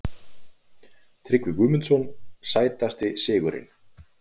Tryggvi Guðmundsson Sætasti sigurinn?